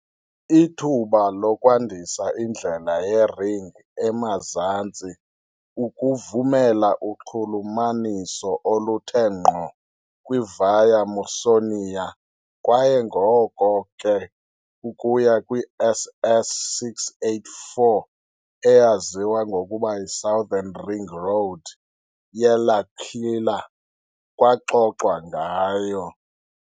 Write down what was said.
Ithuba lokwandisa indlela ye-ring emazantsi ukuvumela uxhulumaniso oluthe ngqo kwi-Via Mausonia kwaye ngoko ke ukuya kwi- SS 684, eyaziwa ngokuba yi "-Southern ring road ye-L'Aquila", kwaxoxwa ngayo.